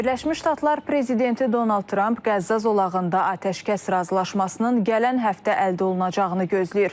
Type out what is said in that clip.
Birləşmiş Ştatlar prezidenti Donald Tramp Qəzza zolağında atəşkəs razılaşmasının gələn həftə əldə olunacağını gözləyir.